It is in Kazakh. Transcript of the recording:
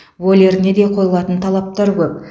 вольеріне де қойылатын талаптар көп